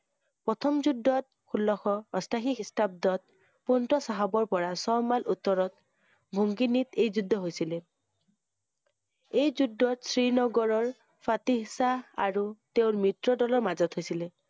প্ৰথম যুদ্ধত, ষোল্লশ অষ্টাশী খ্ৰীষ্টাবদত, পন্ত চাহাবৰ পৰা ছয় মাইল উত্তৰত মুঙিনিত এই যুদ্ধ হৈছিলে। এই যুদ্ধত শ্ৰীনগৰৰ ফাটিহ শাহ আৰু তেওঁৰ মিত্ৰ দলৰ মাজত হৈছিলে ।